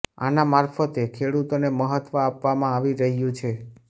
આના મારફતે ખેડૂતોને મહત્વ આપવામાં આવી રહ્યું છે